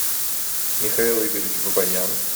михаил игоревич бабаян